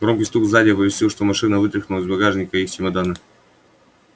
громкий стук сзади оповестил что машина вытряхнула из багажника и их чемоданы